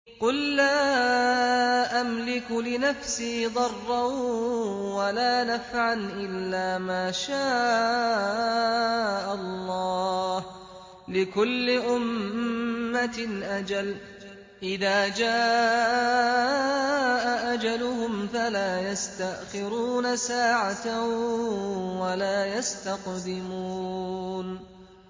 قُل لَّا أَمْلِكُ لِنَفْسِي ضَرًّا وَلَا نَفْعًا إِلَّا مَا شَاءَ اللَّهُ ۗ لِكُلِّ أُمَّةٍ أَجَلٌ ۚ إِذَا جَاءَ أَجَلُهُمْ فَلَا يَسْتَأْخِرُونَ سَاعَةً ۖ وَلَا يَسْتَقْدِمُونَ